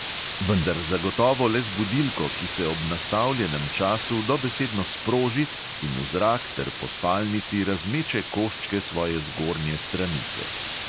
Vendar zagotovo le z budilko, ki se ob nastavljenem času dobesedno sproži in v zrak ter po spalnici razmeče koščke svoje zgornje stranice.